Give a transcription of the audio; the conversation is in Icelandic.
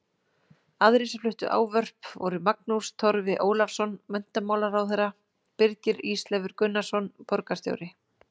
Aðrir sem fluttu ávörp voru Magnús Torfi Ólafsson menntamálaráðherra, Birgir Ísleifur Gunnarsson borgarstjóri